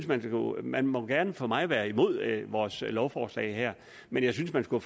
man må man må gerne for mig være imod vores lovforslag her men jeg synes man skulle